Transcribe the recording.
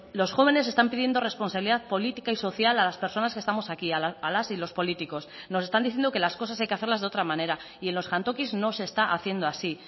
los jóvenes están pidiendo responsabilidad política y social a las personas que estamos aquí a las y los políticos nos están diciendo que las cosas hay que hacerlas de otra manera y en los jantokis no se está haciendo así